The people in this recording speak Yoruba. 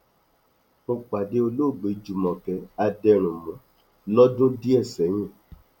mo pàdé olóògbé júmọkẹ adẹrùnmù lọdún díẹ sẹyìn